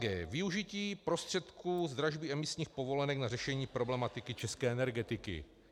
g) Využití prostředků z dražby emisních povolenek na řešení problematiky české energetiky.